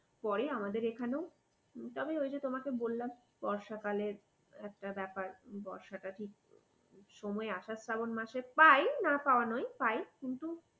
পরে আমাদের এখানেও তবে ওই যে তোমাকে বললাম বর্ষাকালের একটা ব্যাপার বর্ষাটা ঠিক সময় আসার শাবান মাসে পাই না পাওয়া নয় পাই কিন্তু